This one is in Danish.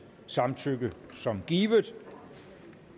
samtykke som givet